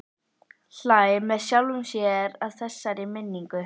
Hlær með sjálfum sér að þessari minningu.